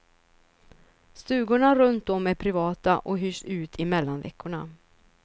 Stugorna runt om är privata och hyrs ut i mellanveckorna.